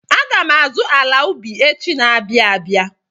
Aga m azụ ala ubi echi na-abịa abịa.